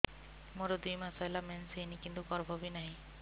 ମୋର ଦୁଇ ମାସ ହେଲା ମେନ୍ସ ହେଇନି କିନ୍ତୁ ଗର୍ଭ ବି ନାହିଁ